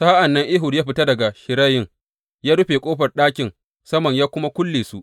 Sa’an nan Ehud ya fita daga shirayin; ya rufe ƙofar ɗakin saman, ya kuma kulle su.